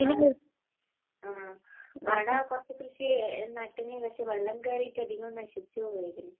ആ...ആട കുറച്ചു കൃഷി നട്ടിന്...പക്ഷേ വെള്ളം കേറീട്ട് അധികോം നശിച്ചുപോകുവാ ചെയ്തത്.